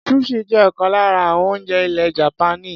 Sushi jẹ́ ọ̀kan lára àwọn oúnjẹ ilẹ̀ Japaní.